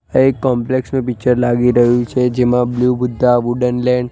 આ એક કૉમ્પ્લેક્સ નુ પિક્ચર લાગી રહ્યુ છે જેમા બ્લુ બુદ્ધા વુડનલેન્ડ --